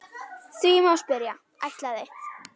Því má spyrja: ætlaði